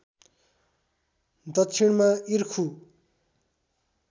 दक्षिणमा इर्खु